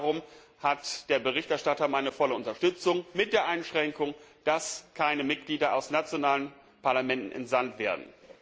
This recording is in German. Darum hat der Berichterstatter meine volle Unterstützung, mit der Einschränkung, dass keine Mitglieder aus nationalen Parlamenten entsandt werden.